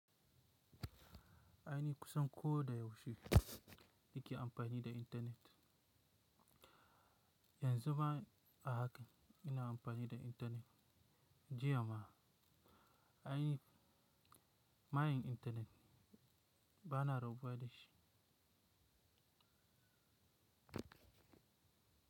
Ai ni kusan ko da yaushe nike amfani da internet. Yanzu ma a haka ina amfani da intanet, jiya ma. Aini, mayen intanet, bana rabuwa da shi.